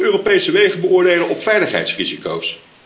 We gaan ook Europese wegen beoordelen op veiligheidsrisico's.